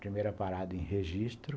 Primeira parada em Registro.